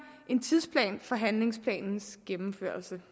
en tidsplan for handlingsplanens gennemførelse